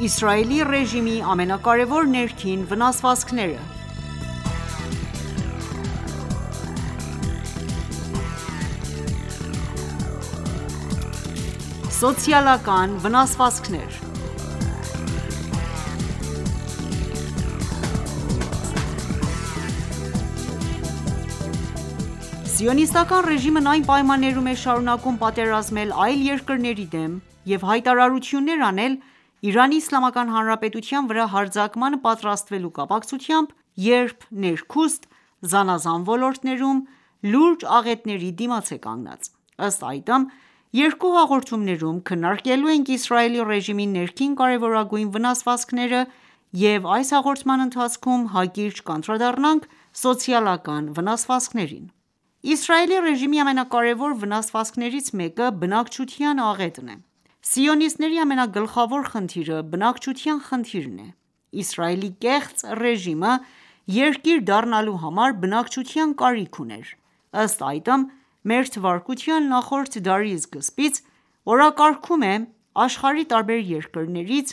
Իսրայելի ռեժիմի ամենակարեւոր ներքին վնասվածքները (1.Սոցիալական վնասվածքներ) Սիոնիստական ռեժիմն այն պայմաններում է շարունակում պատերազմել այլ երկրների դեմ և հայտարարություններ անել Իրանի Իսլամական հանրապետության վրա հարձակմանը պատրաստվելու կապակցությամբ ,երբ ներքուստ զանազան ոլորտներում լուրջ աղետների դիմաց է կանգնած: Ըստ այդմ, երկու հաղորդումներում քննարկելու ենք Իսրայելի ռեժիմի ներքին կարեւորագույն վնասվածքները, և այս հաղորդման ընթացքում հակիրճ կանդրադառնանք սոցիալական վնասվածքներին: Իսրայելի ռեժիմի ամենակարեւոր վնասվածքներից մեկը՝ բնակչության աղետն է։Սիոնիստների ամենագլխավոր խնդիրը բնակչության խնդիրն է։Իսրայելի կեղծ ռեժիմը երկիր դառնալու համար բնակչության կարիք ուներ:Ըստ այդմ, մեր թվարկության նախորդ դարի սկզբից ,օրակարգում է՝ աշխարհի տարբեր երկրներից,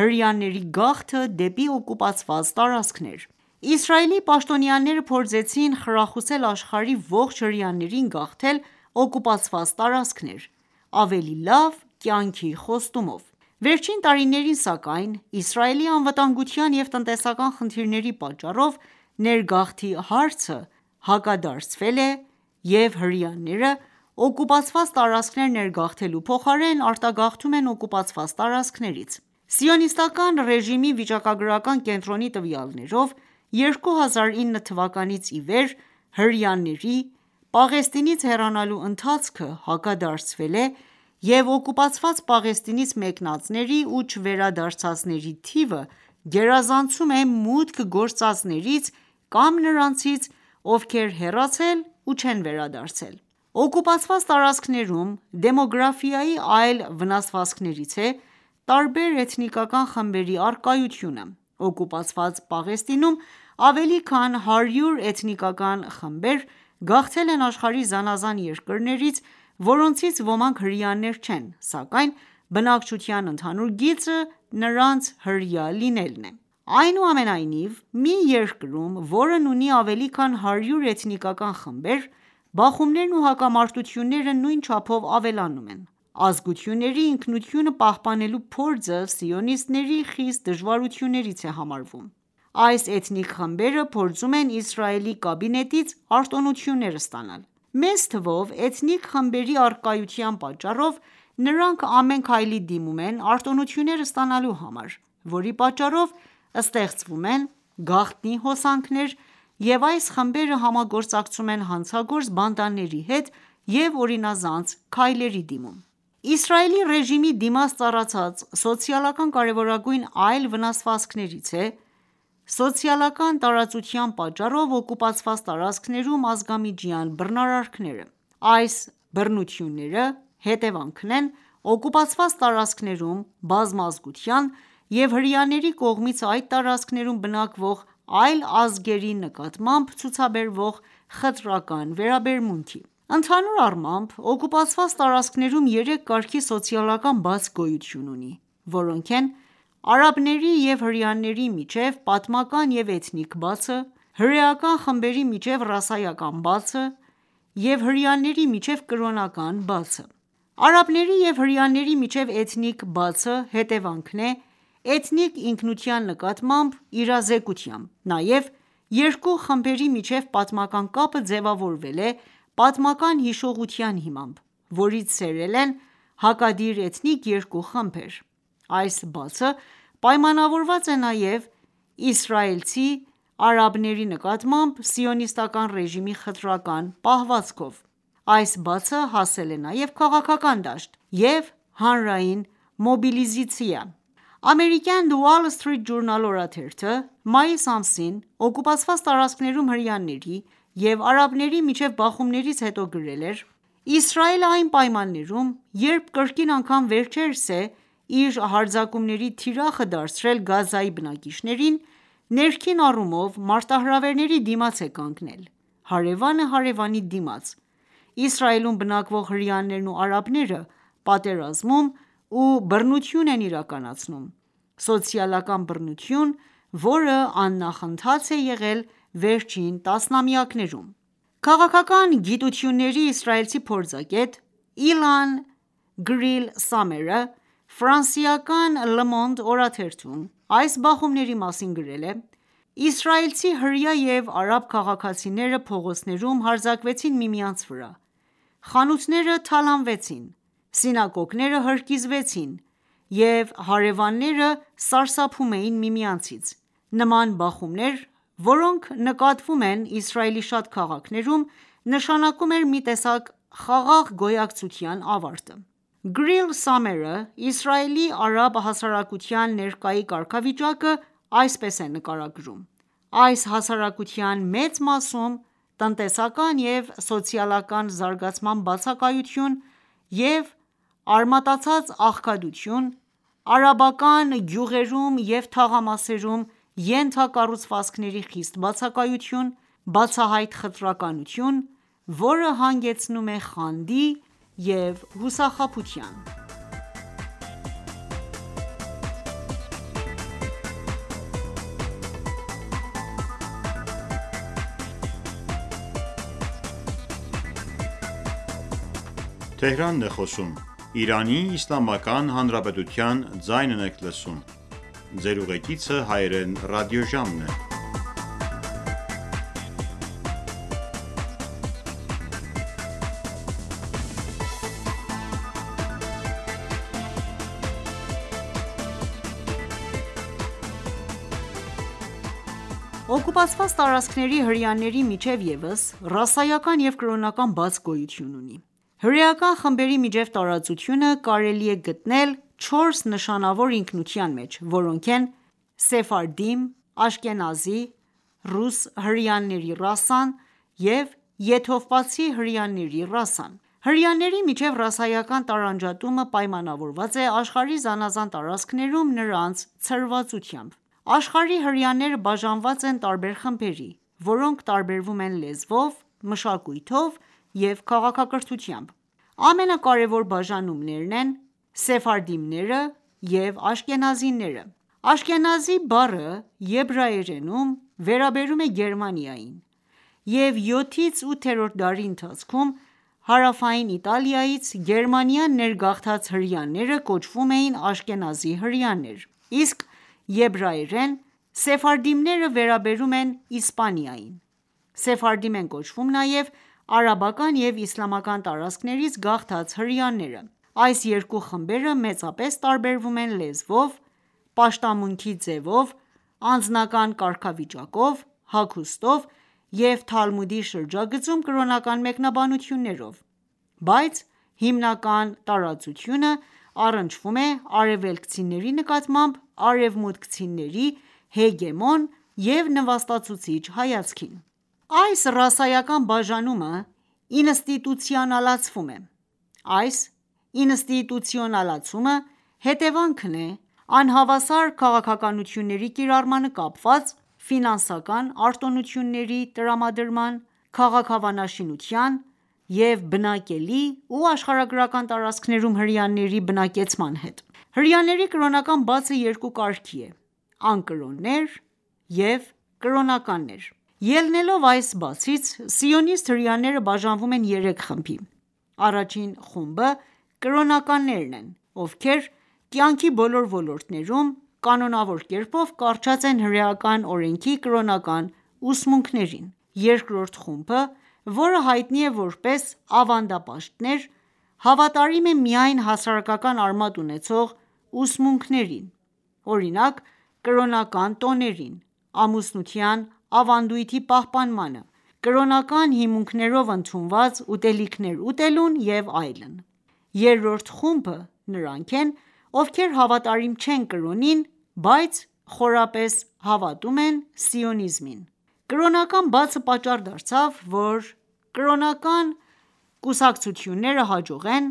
հրեաների գաղթը դեպի օկուպացված տարածքներ։ Իսրայելի պաշտոնյաները փորձեցին խրախուսել աշխարհի ողջ հրեաներին գաղթել օկուպացված տարածքներ՝ ավելի լավ կյանքի խոստումով:Վերջին տարիներին, սակայն, Իսրայելի անվտանգության և տնտեսական խնդիրների պատճառով ներգաղթի հարցը հակադարձվել է,և հրեաները օկուպացված տարածքներ ներգաղթելու փոխարեն ,արտագաղթում են օկուպացված տարածքներից:Սիոնիստական ռեժիմի վիճակագրական կենտրոնի տվյալներով՝ 2009 թվականից ի վեր հրեաների՝ Պաղեստինից հեռանալու ընթացքը հակադարձվել է և օկուպացված Պաղեստինից մեկնածների ու չվերադարձածների թիվը գերազանցում է մուտք գործածներից կամ նրանցից ,ովքեր հեռացել ու չեն վերադարձել: Օկուպացված տարածքներում դեմոգրֆիայի այլ վնասվածքներից է տարբեր էթնիկական խմբերի առկայությունը:Օկուպացված Պաղեստինում ավելի քան 100 էթնիկական խմբեր գաղթել են աշխարհի զանազան երկրներից, որոնցից ոմանք հրեաներ չեն, սակայն բնակչության ընդհանուր գիծը ,նրանց հրեա լինելն է: Այնուամենայնիվ, մի երկրում, որն ունի ավելի քան 100 էթնիկական խմբեր, բախումներն ու հակամարտությունները նույն չափով ավելանում են :Ազգությունների ինքնությունը պահպանելու փորձը սիոնիստների խիստ դժվարություններից է համարվում: Այս էթնիկ խմբերը փորձում են Իսրայելի կաբինետից արտոնություններ ստանալ: Մեծ թվով էթնիկ խմբերի առկայության պատճառով, նրանք ամեն քայլի դիմում են արտոնություններ ստանալու համար ,որի պատճառով ստեղծվում են գաղտնի հոսանքներ և այս խմբերը համագործակցում են հանցագործ բանդաների հետ և օրինազանց քայլերի դիմում: Իսրայելի ռեժիմի դիմաց ծառացած սոցիալական կարևորագույն այլ վնասվածքներից է ՝սոցիալական տարածության պատճառով օկուպացված տարածքներում ազգամիջյան բռնարարքները:Այս բռնությունները ,հետևանքն են օկուպացված տարածքներում բազմազգության և հրեաների կողմից այդ տարածքներում բնակվող այլ ազգերի նկատմամբ ցուցաբերվող խտրական վերաբերմունքի: Ընդհանուր առմամբ օկուպացված տարածքներում երեք կարգի սոցիալական բաց գոյություն ունի, որոնք են ՝արաբների եւ հրեաների միջեւ պատմական եւ էթնիկ բացը, հրեական խմբերի միջեւ ռասայական բացը եւ հրեաների միջեւ կրոնական բացը: Արաբների եւ հրեաների միջեւ էթնիկ բացը հետևանքն է էթնիկ ինքնության նկատմամբ իրազեկության:Նաև երկու խմբերի միջև պատմական կապը ձևավորվել է պատմական հիշողության հիմամբ ,որից սերել են հակադիր էթնիկ երկու խմբեր: Այս բացը պայմանավորված է նաեւ իսրայելցի արաբների նկատմամբ սիոնիստական ռեժիմի խտրական պահվածքով։ Այս բացը հասել է նաև քաղաքական դաշտ և հանրային մոբիլիզացիա։ Ամերիկյան Wall Street Journal օրաթերթը մայիս ամսին, օկուպացված տարածքներում հրեաների և արաբների միջև բախումներից հետո գրել էր.«Իսրայելը այն պայմաններում ,երբ կրկին անգամ վերջերս է իր հարձակումների թիրախը դարձրել Գազայի բնակիչներին ,ներքին առումով մարտահրվերի դիմաց է կանգնել՝ հարևանը հարևանի դիմաց ,Իսրայելում բնակվող հրեաներն ու արաբները պատերազմում ու բռնություն են իրակակացնում ,սոցիալական բռնություն ,որը աննախընթաց է եղել վերջին տասնամյակներում»: Քաղաքական գիտությունների իսրայելցի փորձագետ Իլան Գրիլ Սամերը ,Ֆրանսիական «Լը Մոնդ»օրաթերթում այս բախումների մասին գրել է.«Իսրայելցի հրեա և արաբ քաղաքացիները փողոցներում հարձակվեցին միմյանց վրա: Խանութները թալանվեցին, սինագոգները հրկիզվեցին և հարևանները սարսափում էին միմյանցից։ Նման բախումներ, որոնք նկատվում են Իսրայելի շատ քաղաքներում, նշանակում էր մի տեսակ «խաղաղ գոյակցության» ավարտը»:Գրիլ Սամերը Իսրայելի արաբ հասարակության ներկայի կարգավիճակը այսպես է նկարագրում.«Այս հասարակության մեծ մասում տնտեսական և սոցիալական զարգացման բացակայություն և արմատացած աղքատություն, արաբական գյուղերում և թաղամասերում ենթակառուցվածքների խիստ բացակայություն, բացահայտ խտրականություն, որը հանգեցնում է խանդի և հուսախաբության…»: Օկուպացված տարածքների հրեաների միջև ևս ռասայական և կրոնական բաց գոյություն ունի:Հրեական խմբերի միջև տարածությունը կարելի է գտնել չորս նշանավոր ինքնության մեջ, որոնք են՝ սեֆարդիմ, աշքենազի, ռուս հրեաների ռասան և եթովպացի հրեաների ռասան: Հրեաների միջև ռասայական տարանջատումը պայմանավորված է աշխարհի զանազան տարածքներում, նրանց ցրվածությամբ :Աշխարհի հրեաները բաժանված են տարբեր խմբերի, որոնք տարբերվում են լեզվով, մշակույթով և քաղաքակրթությամբ:Ամենակարևոր բաժանումներն են՝ են սեֆարդիմները և աշքենազիները:Աշքենազի բառը եբրայերենում վերաբերում էր Գերմանիային, և յոթից ութերորդ դարերի ընթացքում, հարավային Իտալիայից Գերմանիա ներգաղթած հրեաները կոչվում էին աշքենազի հրեաներ, իսկ եբրայերեն սեֆարդիմները վերաբերում են Իսպանիային:Սեֆարդիմ են կոչվում նաև արաբական և իսլամական տարածքներից գաղթած հրեաները:Այս երկու խմբերը մեծապես տարբերվում են լեզվով, պաշտամունքի ձևով, անձնական կարգավիճակով, հագուստով և Թալմուդի շրջագծում ՝ կրոնական մեկնաբանություններով, բայց հիմնական տարածությունը առնչվում է արևելքցիների նկատմամբ արևմուտքցիների հեգեմոն և նվաստացուցիչ հայացքին: Այս ռասայական բաժանումը ինստիտուցիոնալացվում է:Այս ինստիտուցիոնալացումը հետևանքն է անհավասար քաղաքականությունների կիրառմանը կապված ՝ ֆինանսական արտոնությունների տրամադրման, քաղաքավանաշինության և բնակելի ու աշխարհագրական տարածքներում հրեաների բնակեցման հետ: Հրեաների կրոնական բացը երկու կարգի է՝ անկրոններ և կրոնականներ:Ելնելով այս բացից ՝ սիոնիստ հրեաները բաժանվում են երեք խմբի:Առաջին խումբը կրոնականներն են, ովքեր կյանքի բոլոր ոլորտներում ,կանոնավոր կերպով կառչած են հրեական օրենքի կրոնական ուսմունքներին: Երկրորդ խումբը, որը հայտնի է որպես ավանդապաշտներ, հավատարիմ է միայն հասարակական արմատ ունեցող ուսմունքներին, օրինակ՝ կրոնական տոներին, ամուսնության ավանդույթի պահպանմանը, կրոնական հիմունքներով ընդունված ուտելիքներ ուտելուն և այլն:Երրորդ խումբը նրանք են, ովքեր հավատարիմ չեն կրոնին, բայց խորապես հավատում են սիոնիզմին:Կրոնական բացը պատճառ դարձավ ,որ կրոնական կուսակցությունները հաջողեն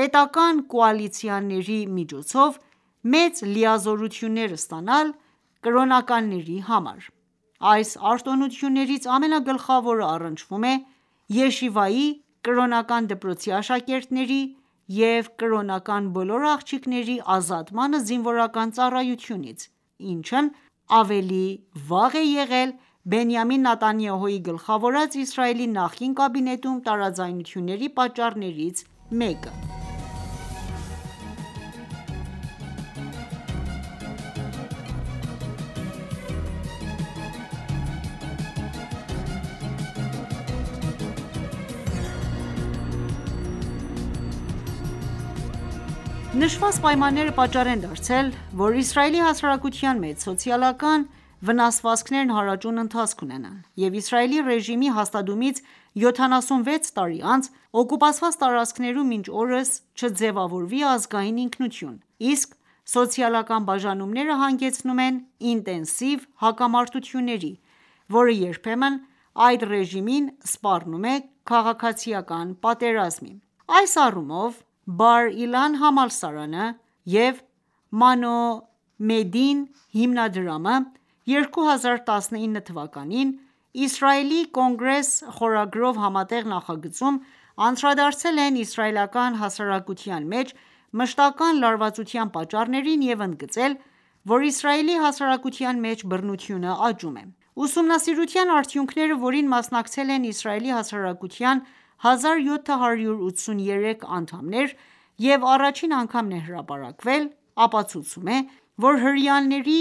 պետական կոալիցիաների միջոցով մեծ լիազորություններ ստանալ կրոնականների համար: Այս արտոնություններից ամենագլխավորը առնչվում է «Յեշիվայի» կրոնական դպրոցի աշակերտների և կրոնական բոլոր աղջիկների ազատմանը զինվորական ծառայությունից, Ինչն ավելի վաղ եղել է Բենիամին Նեթանյահուի գլխավորած Իսրայելի նախկին կաբինետում տարաձայնությունների պատճառներից մեկը։ Նշված պայմանները պատճառ են դարձել, որ Իսրայելի հասարակության մեջ սոցիալական վնասվածքներն հարաճուն ընթացք ունենան,և Իսրայելի ռեժիմի հաստատումից 76 տարի անց, օկուպացված տարածքներում մինչ օրս չձևավորվի ազգային ինքնություն, իսկ սոցիալական բաժանումները հանգեցնում են ինտենսիվ հակամարտությունների, որը երբեմն այդ ռեժիմին սպառնում է քաղաքացիական պատերազմը:Այս առումով, Բար Իլան համալսարանը և «Մանո մեդդին» հիմնադրամը 2019 թվականին «Իսրայելի Կոնգրես» խորագրով համատեղ նախագծում անդրադարձել են իսրայելական հասարակության մեջ մշտական լարվածության պատճառներին և ընդգծել, որ Իսրայելի հասարակության մեջ բռնությունը աճում է։Ուսումնասիրության արդյունքները որին, մասնակցել են Իսրայելի հասարակության 1783 անդամներ և առաջին անգամ է հրապարակվել, ապացուցում է, որ հրեաների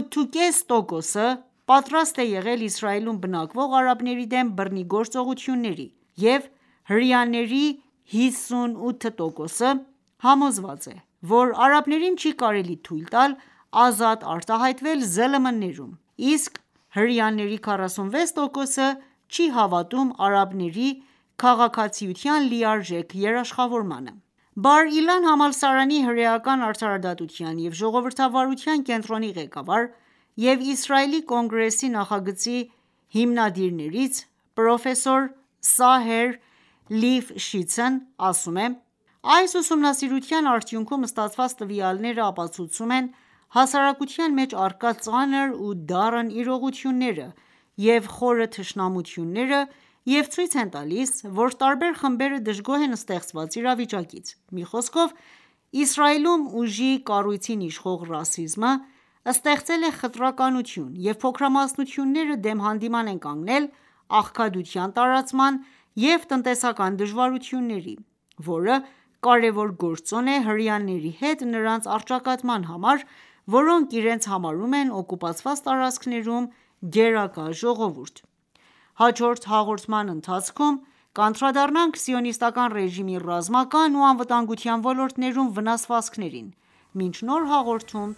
8,5 տոկոսը պատրաստ է եղել Իսրայելում բնակվող արաբների դեմ բռնի գործողությունների,և հրեաների 58%-ը համոզված է, որ արաբներին չի կարելի թույլ տալ ազատ արտահայտվել ԶԼՄ-ներում, իսկ հրեաների 46%-ը չի հավատում արաբների քաղաքացիության լիարժեք երաշխավորմանը: Բար Իլան համալսարանի հրեական արդարադատության և ժողովրդավարության կենտրոնի ղեկավար և Իսրայելի Կոնգրեսի նախագծի հիմնադիրներից ՝ պրոֆեսոր Սահեր Լիֆ շիցն ասել է.«Այս ուսումնասիրության արդյունքում ստացված տվյալները ապացուցում են՝ հասարակության մեջ առկա ծանր ու դառն իրողությունները և խորը թշնամությունները և ցույց են տալիս, որ տարբեր խմբերը դժգոհ են ստեղծված իրավիճակից»: Մի խոսքով Իսրայելում ուժի կառույցին իշխող ռասիզմը, ստեղծել է խտրականություն և փոքրամասնությունները դեմ հանդիման են կանգնել աղքատության տարածման ու տնտեսական դժվարությունների ,որը կարևոր գործոն է հրեաների հետ նրանց առճակատման համար, որոնք իրենց համարում են օկուպացված տարածքներում գերակա ժողովուրդ։ Հաջորդ հաղորդման ընթացքում կանդրադառնանք սիոնիստական ռեժիմի ռազմական ու անվտանգության ոլորտներում վնասվածքներին։ Մինչ նոր հաղորդում